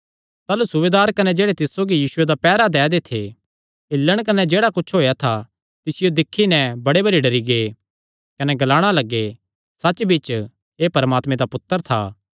ताह़लू सूबेदार कने जेह्ड़े तिस सौगी यीशुये दा पैहरा दै दे थे हिल्लण कने जेह्ड़ा कुच्छ होएया था तिसियो दिक्खी नैं बड़े भरी डरी गै कने ग्लाणा लग्गे सच्चबिच्च एह़ परमात्मे दा पुत्तर था